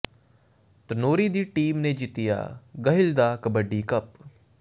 ਧਨੌਰੀ ਦੀ ਟੀਮ ਨੇ ਜਿੱਤਿਆ ਗਹਿਲ ਦਾ ਕਬੱਡੀ ਕੱਪ